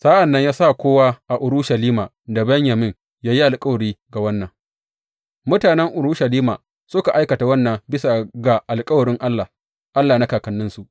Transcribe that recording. Sa’an nan ya sa kowa a Urushalima da Benyamin ya yi alkawari ga wannan; mutanen Urushalima suka aikata wannan bisa ga alkawarin Allah, Allah na kakanninsu.